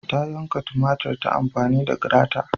Ta yanka tumatir ta amfani da grata